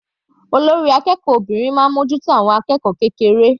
Olórí akẹ́kọ̀ọ́ obìnrin máa ń mú ojú tó àwọn akẹ́kọ̀ọ́ kékeré.